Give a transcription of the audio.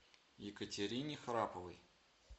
екатерине храповой